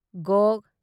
ꯘ